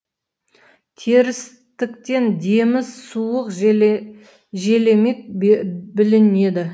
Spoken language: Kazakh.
терістіктен демі суық желемік білінеді